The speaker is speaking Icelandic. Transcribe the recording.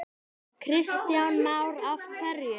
Kristján Már: Af hverju?